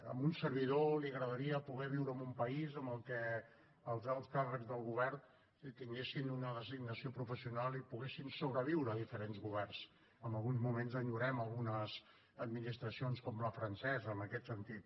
a un servidor li agradaria poder viure en un país en què els alts càrrecs del govern tinguessin una designació professional i poguessin sobreviure diferents governs en alguns moments enyorem algunes administracions com la francesa en aquest sentit